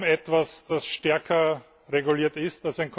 Es gibt kaum etwas, das stärker reguliert ist.